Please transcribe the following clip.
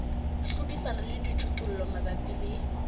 hlodisana le dijothollo mabapi le